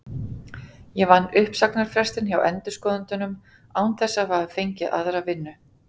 Ég vann uppsagnarfrestinn hjá endurskoðendunum án þess að hafa fengið aðra vinnu.